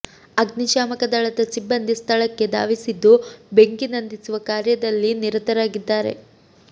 ಅಗ್ನಿಶಾಮಕ ದಳದ ಸಿಬ್ಬಂದಿ ಸ್ಥಳಕ್ಕೆ ಧಾವಿಸಿದ್ದು ಬೆಂಕಿ ನಂದಿಸುವ ಕಾರ್ಯದಲ್ಲಿ ನಿರತರಾಗಿದ್ದಾರೆ